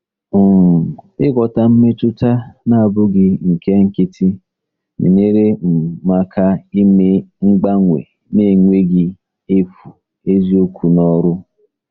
um Ịghọta mmetụta na-abụghị nke nkịtị na-enyere um m aka ime mgbanwe n'enweghị efu eziokwu n'ọrụ.